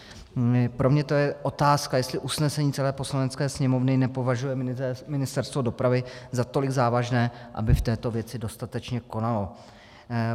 Pro mě to je otázka, jestli usnesení celé Poslanecké sněmovny nepovažuje Ministerstvo dopravy za tolik závažné, aby v této věci dostatečně konalo.